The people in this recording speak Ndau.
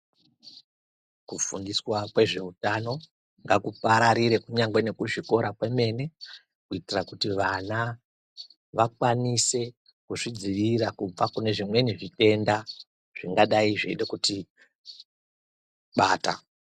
Kufundiswa kwezvehutano ngakupararire kunyangwe nekuzvikora kwemene kuitira kuti vana vakwanise kuzvidzivirira kubva kune zvimweni zvitenda zvingadai zveida kutibata.